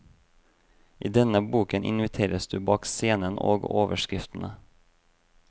I denne boken inviteres du bak scenen og overskriftene.